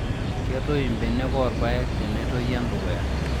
Ketoi mbenek oorpayek tenetoi endukuya